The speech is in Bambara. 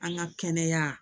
An ka kɛnɛya